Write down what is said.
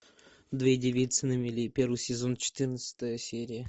две девицы на мели первый сезон четырнадцатая серия